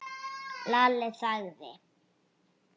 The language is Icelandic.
Lalli þagði.